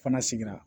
Fana sigira